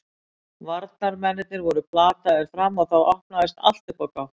Varnarmennirnir voru plataðir fram og þá opnaðist allt upp á gátt.